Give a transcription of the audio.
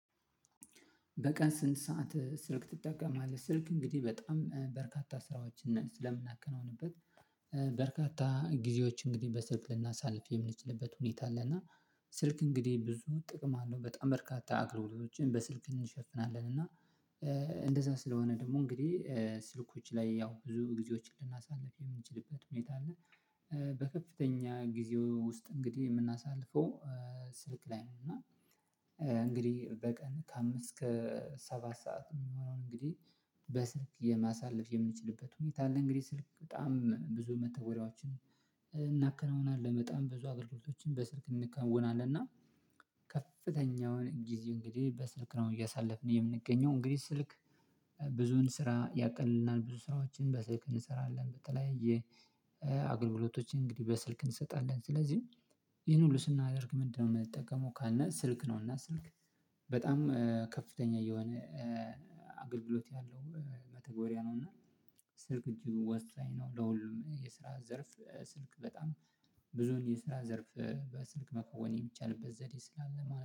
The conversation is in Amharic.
በቀን ስንት ሰዓት ስልክ ትጠቀማለህ? ስልክ እንግዲህ በጣም በርካታ ስራዎችን ስለምናከናውንበት በርካታ ጊዜዎች እንግዲህ በስልክ ልናሳልፍ የምንችልበት ሁኔታ አለ። እና ስልክ እንግዲህ ብዙ ጥቅም አለው በጣም በርካታ አገልግሎቶችን በስልክ እንሸፍናለን እና እንደዛ ስለሆነ ደግሞ እንግዲህ ስልኮች ላይ ያው ብዙ ጊዜዎችን ልናሳልፍ የምንችልበት ሁኔታ አለ። በከፍተኛ ጊዜ ውስጥ እንግዲህ የምናሳልፈው ስልክ ላይ ነው። እና እንግዲህ በቀን ከአምስት እስከ ሰባት ሰዓት የሚሆነውን እንግዲህ በስልክ የማሳለፍ የምንችልበት ሁኔታ አለ። እንግዲህ ስልክ በጣም ብዙ መተግበሪያዎችን እናከናውናለን በጣም ብዙ አገልግሎቶችን በስልክ እናከናውናለን። እና ከፍተኛውን ጊዜ እንግዲህ በስልክ ነው እያሳለፍን የምንገኘው። እንግዲህ ስልክ ብዙ ስራ ያቀልልናል ብዙ ስራዎችን በስልክ እንሰራለን በተለያየ አገልግሎቶች እንግዲህ በስልክ እንሰጣለን። ስለዚህ ይሄን ሁሉ ስናደርግ ምንድነው የምንጠቀመው ካልነ ስልክ ነው። እና ስልክ በጣም ከፍተኛ የሆነ አገልግሎት ያለው መተግበሪያ ነው። እና ስልክ እጅግ ወሳኝ ነው። ለሁሉም የስራ ዘርፍ ስልክ በጣም ብዙውን የስራ ዘርፍ በስልክ መከወን የሚቻልበት ዘዴ ስላለ